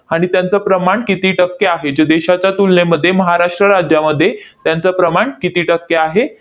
आणि त्यांचं प्रमाण किती टक्के आहे, जे देशाच्या तुलनेमध्ये महाराष्ट्र राज्यामध्ये त्यांचं प्रमाण किती टक्के आहे?